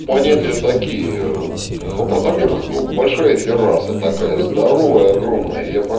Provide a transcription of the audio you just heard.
понятие такие в апартаментах ну большая терраса такая здоровая огромная я па